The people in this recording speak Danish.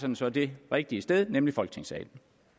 den så det rigtige sted nemlig i folketingssalen